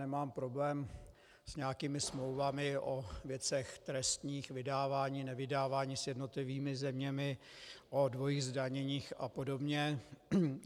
Nemám problém s nějakými smlouvami o věcech trestních, vydávání, nevydávání s jednotlivými zeměmi, o dvojím zdanění a podobně.